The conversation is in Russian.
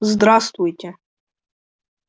здравствуйте